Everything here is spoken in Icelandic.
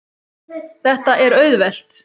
Þetta er auðvelt.